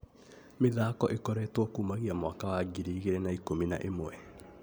Mĩthako ĩkoretwe kumagia mwaka wa ngiri igĩrĩ na ikũmi na imwe